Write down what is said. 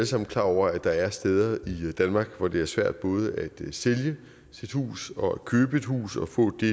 sammen klar over at der er steder i danmark hvor det er svært både at sælge sit hus og at købe et hus og at få det